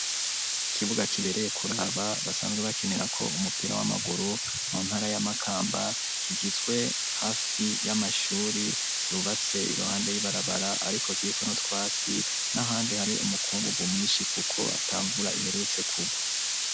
Ikibuga kibereye kuraba ,basanzwe bakenirako umupira w'amaguru, mu ntara ya Makamba, kigizwe hafi y'amashuri yubatse iruhande y'ibarabara ,ariko kiriko n' utwatsi ,n'ahandi hari umukungugu mwinshi ,kuko atamvura iherutse kugwa.